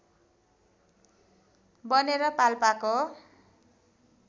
बनेर पाल्पाको